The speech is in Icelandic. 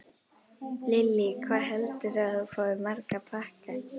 Lillý: Hvað heldurðu að þú fáir marga pakka?